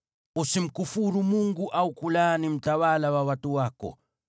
“Usimkufuru Mungu au kumlaani mtawala wa watu wako.